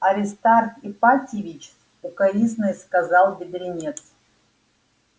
аристарх ипатьевич с укоризной сказал бедренец